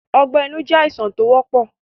Ọgbẹ́ inú jẹ́ àìsàn tó wọ́pọ̀